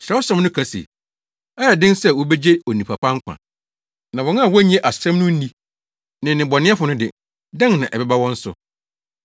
Kyerɛwsɛm no ka se, “Ɛyɛ den sɛ wobegye onipa pa nkwa; na wɔn a wonnye asɛm no nni ne nnebɔneyɛfo no de, dɛn na ɛbɛba wɔn so?”